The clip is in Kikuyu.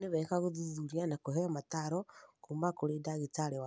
nĩ wega gũthuthuria na kũheo mataaro kuuma kũrĩ ndagĩtarĩ waku